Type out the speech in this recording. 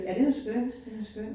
Ja, den er skøn den er skøn